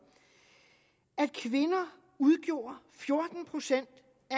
at kvinder udgjorde fjorten procent